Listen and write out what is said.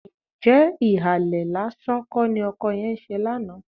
Ǹjẹ́ ìhàlẹ̀ lásán kọ́ ni ọkọ yẹn ń ṣe lánàá?